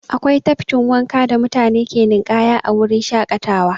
Akwai tafkin wanka da mutane ke ninƙaya a wurin shaƙatawa.